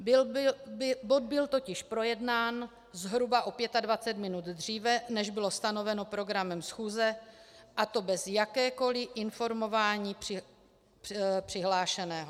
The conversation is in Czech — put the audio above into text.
Bod byl totiž projednán zhruba o 25 minut dříve, než bylo stanoveno programem schůze, a to bez jakéhokoliv informování přihlášeného.